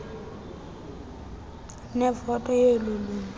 nevoti yeloo lungu